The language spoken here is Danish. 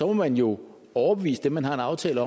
må man jo overbevise dem man har en aftale